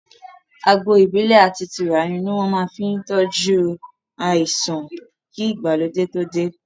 Àgbò Ìbílẹ̀ àti tùràrí ni wọn fi máa ń tọju àìsàn kí ìgbàlódé too dé